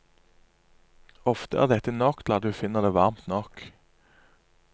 Ofte er dette nok til at vi finner det varmt nok.